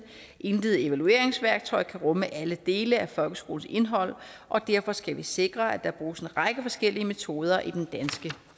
intet evalueringsværktøj kan rumme alle dele af folkeskolens indhold og derfor skal vi sikre at der bruges en række forskellige metoder i den danske